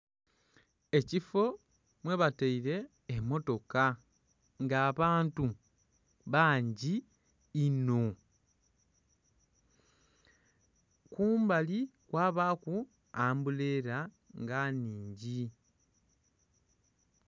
Ekifo mwebataile emmotoka nga abantu bangi inho. Kumbali kwabaaku ambuleela nga nnhingi.